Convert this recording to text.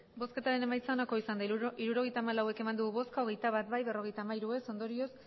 hirurogeita hamalau eman dugu bozka hogeita bat bai berrogeita hamairu ez ondorioz